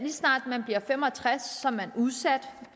snart man bliver fem og tres år er man udsat